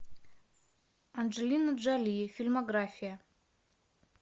анджелина джоли фильмография